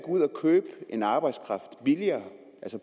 ud og købe en arbejdskraft billigere